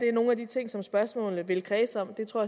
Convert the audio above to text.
er nogle af de ting som spørgsmålene vil kredse om det tror